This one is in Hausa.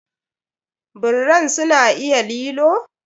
Birran su na iya lilo?